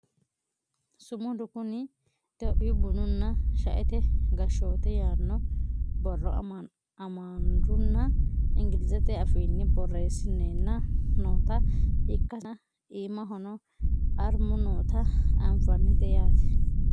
sumudu kuni itiyophiyu bununna shaete gashshoote yaanno borro amaarunna ingilizete afiinni borreessineenna noota ikkasenna iimahono armu noota anfannite yaate .